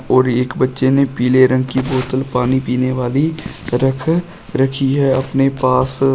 और एक बच्चे ने पीले रंग की बोतल पानी पीने वाली रख रखी है अपने पास।